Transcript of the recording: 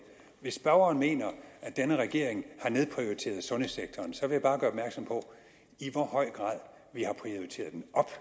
hvis spørgeren mener at denne regering har nedprioriteret sundhedssektoren så vil jeg bare gøre opmærksom på i hvor høj grad vi har prioriteret den op